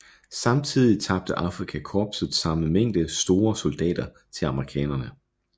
Samtidig tabte Afrika korpset samme mængde soldater til amerikanerne